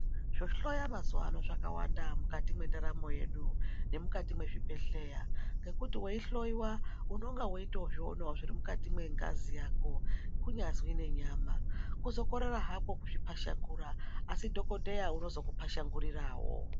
Zvohloya mazuwa ano zvakawanda, mukati mwendaramo yedu, nemukati mwezvibhedhleya ,ngekuti weihloiwa unonge weitozvionawo zviri mukati mwengazi yako ,kunyazwi nenyama, kuzokorera hako kuzviphashanguya, asi dhokodheya unozokuphashangurirawo.